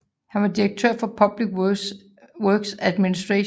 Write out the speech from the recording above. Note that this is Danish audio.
Han var direktør for Public Works Administration